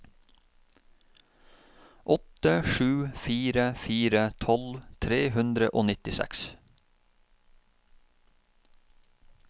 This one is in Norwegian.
åtte sju fire fire tolv tre hundre og nittiseks